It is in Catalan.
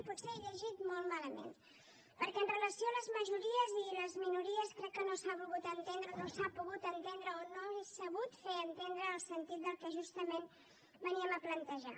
potser he llegit molt malament perquè amb relació a les majories i les minories crec que no s’ha volgut entendre o no s’ha pogut entendre o no he sabut fer entendre el sentit del que justament veníem a plantejar